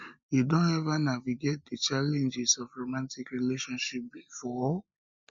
you don ever don ever navigate di challenges of romantic relationships before